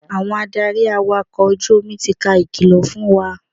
Àwọn adarí awakọ̀ ojú omi ti ka ìkìlọ̀ fún wa.